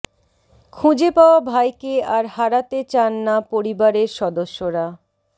খুঁজে পাওয়া ভাইকে আর হারাতে চান না পরিবারের সদস্যরা